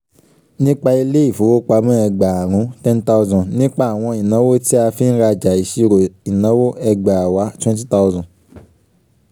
nípa ilé ìfowópamọ́ ẹgbàárún ten thousand nípa àwọn ìnáwó tí a fi ń rajà ìṣírò ìnáwó ẹgbàáwa twenty thousand